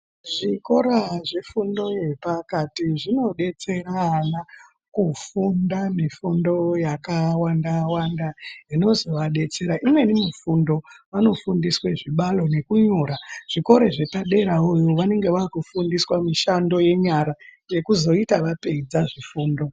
Zvikora zvefundo yepakati zvinobetsera ana kufunda nefundo yakawanda-wanda zvinozovabetsera. Imweni mifundo vanofundiswe zvibalo nekunyora zvikoro zvepaderavovo vanonga vakufundiswa mishando yenyara, yekuzoita vapedza zvifundo.